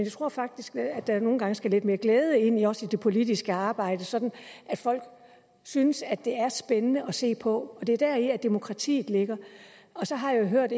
tror faktisk at der nogle gange skal lidt mere glæde ind i også det politiske arbejde så folk synes at det er spændende at se på det er deri demokratiet ligger så har jeg jo hørt